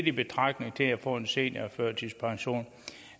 i betragtning til at få en seniorførtidspension